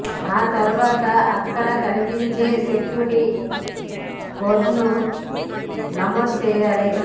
ఆ తర్వాత అక్కడ కనిపించే సెక్యూరిటీ కోడ్ను నమోదు చేయాలి